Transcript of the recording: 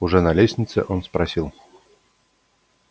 уже на лестнице он спросил